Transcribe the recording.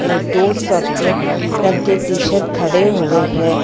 एक दो सफेद रंग की टी शर्ट खड़े हुए हैं।